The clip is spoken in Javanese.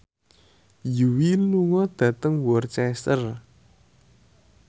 Yui lunga dhateng Worcester